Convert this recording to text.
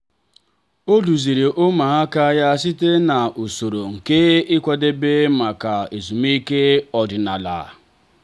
o duziri ụmụaka ya site n’usoro nke ịkwadebe maka ezumike ọdịnala.